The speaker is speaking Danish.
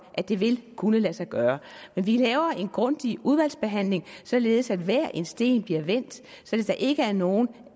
at det vil kunne lade sig gøre vi laver en grundig udvalgsbehandling således at hver en sten bliver vendt så der ikke er nogen